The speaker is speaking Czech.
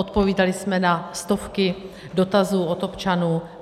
Odpovídali jsme na stovky dotazů od občanů.